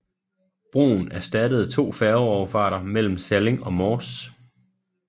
Broen erstattede to færgeoverfarter mellem Salling og Mors